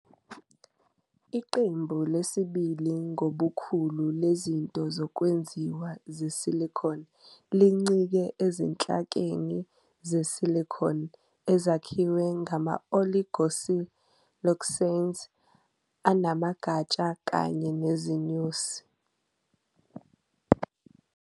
Iqembu lesibili ngobukhulu lezinto zokwenziwa ze-silicone lincike ezinhlakeni ze-silicone, ezakhiwa ngama-oligosiloxanes anamagatsha kanye nezinyosi.